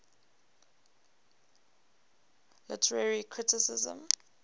literary criticism